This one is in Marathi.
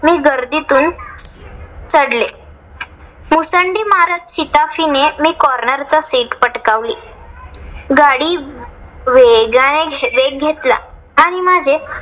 मी गर्दीतून चढले. मुसंडी मारत शिताफीने मी corner चा seat पटकावली. गाडी वेगाने वेग घेतला आणि माझे